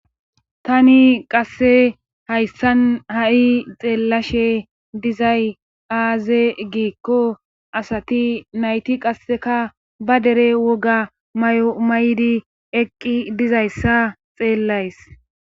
tani qasse hayssan ha7i xeellashe dizay aaze giikko asati nayti qasseka ba dere woga may7o may7di eqqi dizayssa xeellays